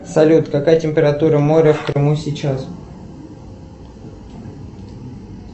салют какая температура моря в крыму сейчас